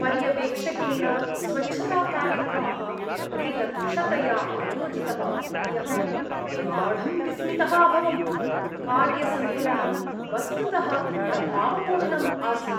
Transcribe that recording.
पर्यवेक्षकेण स्वच्छताकार्यक्रमः अतिदक्षतया आयोजितः इति अहं गाढं विस्मितः अभवम्, कार्यसन्तुलनं वस्तुतः प्रभावपूर्णम् आसीत्।